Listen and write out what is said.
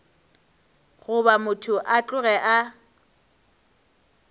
goba motho a tloge a